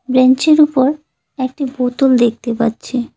ব্রেঞ্চির উপর একটি বোতল দেখতে পাচ্ছি।